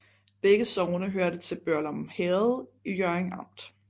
Begge sogne hørte til Børglum Herred i Hjørring Amt